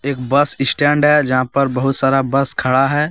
बस स्टैंड है जहां पर बहुत सारा बस खड़ा है।